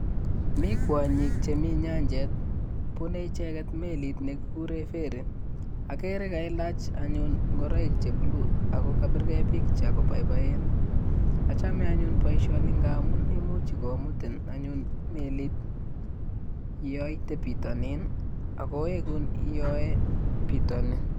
Mii kwonyik chemii nyanchet, bunee icheket meliit nekikuren ferry, okeree kailach anyun ng'oroik che blue akokabirkee picture koboiboen, achome anyun boishoni ng'amun imuch komutin anyun meliit yoitee bitonin akowekun bitoni.